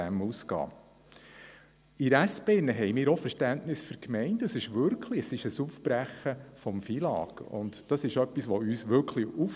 Die SP-JUSO-PSA-Fraktion hat ebenfalls Verständnis für die Gemeinden, denn es ist wirklich ein Aufbrechen des FILAG, und das stösst uns wirklich auf.